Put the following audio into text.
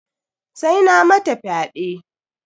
Sai na mata fyaɗe.